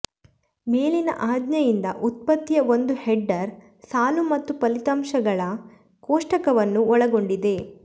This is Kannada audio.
ಮೇಲಿನ ಆಜ್ಞೆಯಿಂದ ಉತ್ಪತ್ತಿಯ ಒಂದು ಹೆಡರ್ ಸಾಲು ಮತ್ತು ಫಲಿತಾಂಶಗಳ ಕೋಷ್ಟಕವನ್ನು ಒಳಗೊಂಡಿದೆ